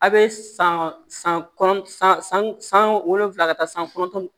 A' bɛ san san kɔnɔ san san san wolonwula ka taa san kɔnɔntɔn